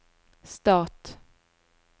stat